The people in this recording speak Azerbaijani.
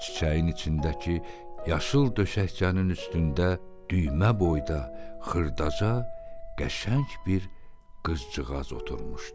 Çiçəyin içindəki yaşıl döşəkçənin üstündə düymə boyda xırdaca, qəşəng bir qızcığaz oturmuşdu.